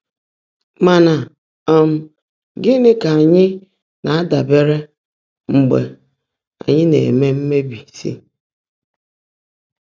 Mà ná um gị́ní kà ányị́ ná-ádàbèèré mgbe ányị́ ná-èmé mkpèbísi?